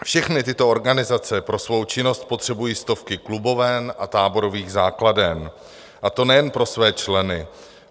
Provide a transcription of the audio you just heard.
Všechny tyto organizace pro svou činnost potřebují stovky kluboven a táborových základen, a to nejen pro své členy.